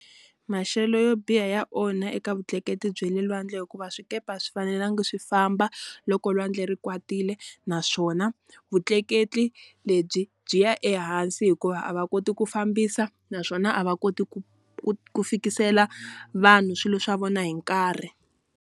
Maxelo yo biha ya onha eka vutleketli bya le lwandle hikuva swikepe swi fanelanga swi famba loko lwandle ri kwatile naswona vutleketli lebyi byi ya ehansi hikuva a va koti ku fambisa naswona a va koti ku ku ku fikisela vanhu swilo swa vona hi nkarhi.